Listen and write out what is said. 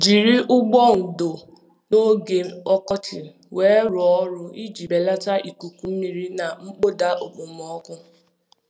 Jiri ụgbụ ndò n'oge ọkọchị weerụọ ọrụ iji belata ikuku mmiri na mkpọda okpomọkụ.